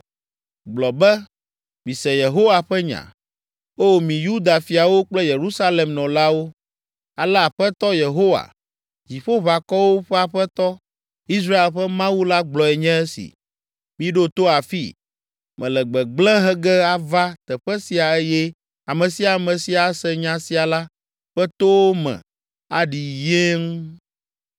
Gblɔ be, ‘Mise Yehowa ƒe nya. O mi Yuda fiawo kple Yerusalem nɔlawo, ale Aƒetɔ Yehowa, Dziƒoʋakɔwo ƒe Aƒetɔ, Israel ƒe Mawu la gblɔe nye esi: Miɖo to afii! Mele gbegblẽ he ge ava teƒe sia eye ame sia ame si ase nya sia la ƒe towo me aɖi yeeŋ.